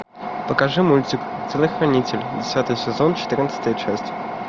покажи мультик телохранитель десятый сезон четырнадцатая часть